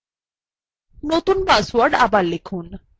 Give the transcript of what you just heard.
নতুন পাসওয়ার্ড আবার লিখুন